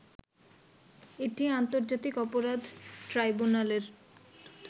এটি আন্তর্জাতিক অপরাধ ট্রাইব্যুনালের